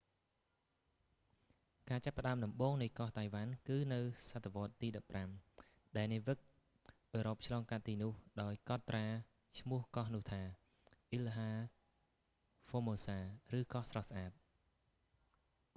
ការចាប់ផ្ដើមដំបូងនៃកោះតៃវ៉ាន់ គឺនៅសតវត្សរ៍ទី 15 ដែលនាវិកអឺរ៉ុបឆ្លងកាត់ទីនោះ ដោយកត់ឈ្មោះត្រាកោះនោះថា ilha formosa ឬកោះស្រស់ស្អាត